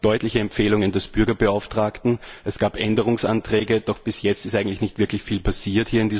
Es gab deutliche Empfehlungen des Bürgerbeauftragten, es gab Änderungsanträge, doch bis jetzt ist in diesem Haus eigentlich nicht wirklich viel passiert.